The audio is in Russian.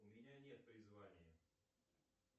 у меня нет призвания